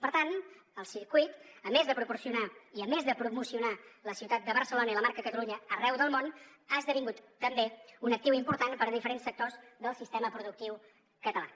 per tant el circuit a més de proporcionar i a més de promocionar la ciutat de barcelona i la marca catalunya arreu del món ha esdevingut també un actiu important per a diferents sectors del sistema productiu català